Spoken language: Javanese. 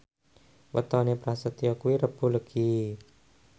wetone Prasetyo kuwi Rebo Legi